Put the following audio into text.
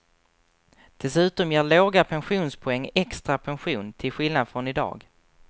Dessutom ger låga pensionspoäng extra pension, till skillnad från i dag.